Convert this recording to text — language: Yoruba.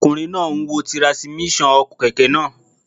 Ọkùnrin náà n wo tirasímíṣàn kẹ̀kẹ́ náà